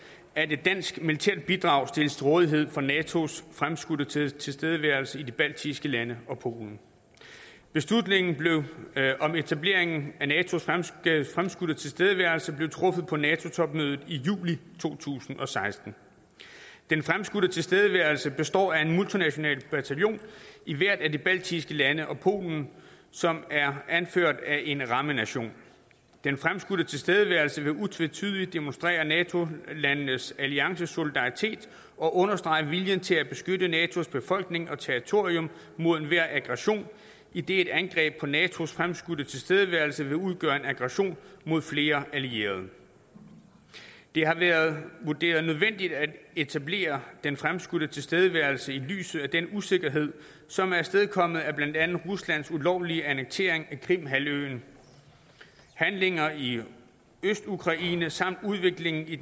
at et dansk militært bidrag stilles til rådighed for natos fremskudte tilstedeværelse i de baltiske lande og polen beslutningen om etablering af natos fremskudte tilstedeværelse blev truffet på nato topmødet i juli to tusind og seksten den fremskudte tilstedeværelse består af en multinational bataljon i hvert af de baltiske lande og polen som er anført af en rammenation den fremskudte tilstedeværelse vil utvetydigt demonstrere nato landenes alliancesolidaritet og understrege viljen til at beskytte natos befolkning og territorium mod enhver aggression idet et angreb på natos fremskudte tilstedeværelse vil udgøre en aggression mod flere allierede det har været vurderet nødvendigt at etablere den fremskudte tilstedeværelse i lyset af den usikkerhed som er afstedkommet af blandt andet ruslands ulovlige annektering af krimhalvøen handlinger i østukraine samt udviklingen i